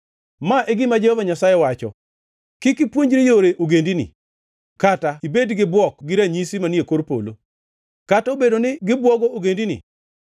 Ma e gima Jehova Nyasaye wacho: “Kik ipuonjri yore ogendini kata ibed gi bwok gi ranyisi manie kor polo, kata obedo ni gibwogo ogendini.